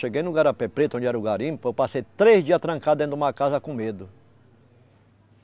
Cheguei no Garapé Preto, onde era o garimpo, eu passei três dias trancado dentro de uma casa com medo.